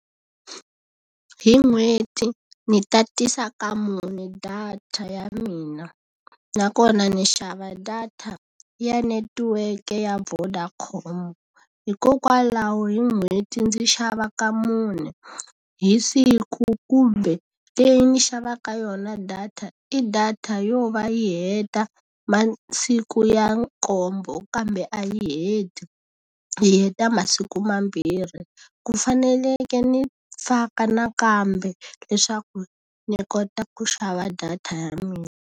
Hi n'hweti ni tatisa ka mune data ya mina, nakona ni xava data ya netiweke ya Vodacom. Hikokwalaho hi n'hweti ndzi xava ka mune, hi siku kumbe leyi ni xavaka yona data i data yo va yi heta masiku ya nkombo kambe a yi heti, yi heta masiku mambirhi. Ku fanekele ni faka nakambe leswaku ni kota ku xava data ya mina.